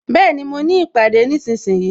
Bẹẹni, mo ní ìpàdé nísinsìnyí